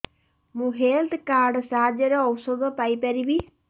ମୁଁ health card ସାହାଯ୍ୟରେ ଔଷଧ ପାଇ ପାରିବି